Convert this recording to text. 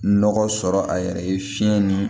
Nɔgɔ sɔrɔ a yɛrɛ ye fiɲɛ ni